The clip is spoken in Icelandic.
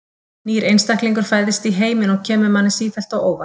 Nýr einstaklingur fæðist í heiminn og kemur manni sífellt á óvart.